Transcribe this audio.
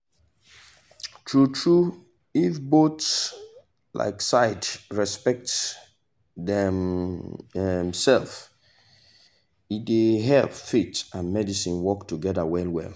true true if both um side respect dem um self it dey help faith and medicine work togeda well well